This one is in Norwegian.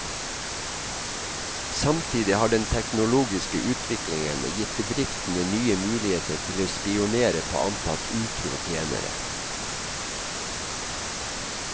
Samtidig har den teknologiske utviklingen gitt bedriftene nye muligheter til å spionere på antatt utro tjenere.